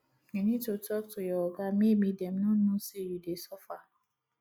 you need to talk to your oga maybe dem no know say you dey suffer